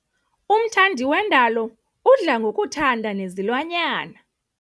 Umthandi wendalo udla ngokuthanda nezilwanyana.